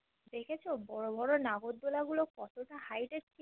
দেখেছো বড়ো বোরো নাগরদোলনা গুলো কতোটা Height এ ছিলো